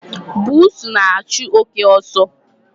Bụsu na-achụ oké ọsọ.